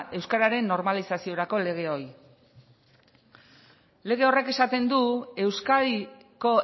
euskararen normalizaziorako lege hori lege horrek esaten du euskadiko